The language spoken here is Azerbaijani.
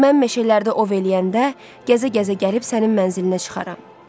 Mən meşələrdə ov eləyəndə, gəzə-gəzə gəlib sənin mənzilinə çıxaram.